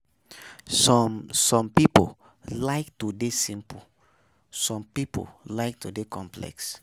Some Some pipo like to de simple some pipo like to de complex